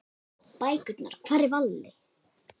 Bækurnar Hvar er Valli?